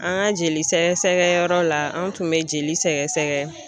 An ka jeli sɛgɛsɛgɛ yɔrɔ la, an tun bɛ jeli sɛgɛsɛgɛ.